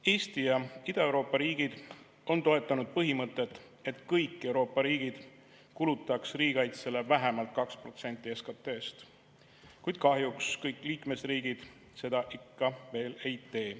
Eesti ja Ida-Euroopa riigid on toetanud põhimõtet, et kõik Euroopa riigid kulutaks riigikaitsele vähemalt 2% SKT‑st, kuid kahjuks kõik liikmesriigid seda ikka veel ei tee.